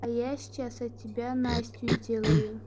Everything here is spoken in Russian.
а я сейчас от тебя настю сделаю